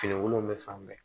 Fini wolonfila bɛɛ